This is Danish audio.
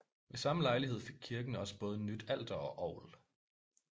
Ved samme lejlighed fik kirken også både nyt alter og orgel